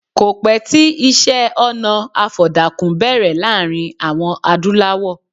Kò pẹ́ tí iṣẹ́-ọnà àfọ̀dàkùn bẹ̀rẹ̀ láàrin àwọn Adúlawọ̀.